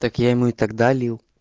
так я ему и тогда лил